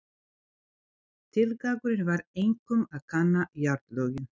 Tilgangurinn var einkum að kanna jarðlögin.